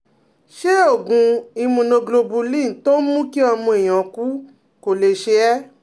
Ṣé oògùn immunoglobulin tó ń mú kí ọmọ èèyàn kú kò lè ṣe é?